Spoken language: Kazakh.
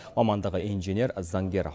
мамандығы инженер заңгер